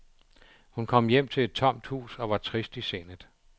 Hun kom hjem til et tomt hus og var trist i sindet.